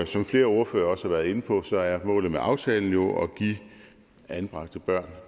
som flere ordførere også har været inde på er målet med aftalen jo at give anbragte børn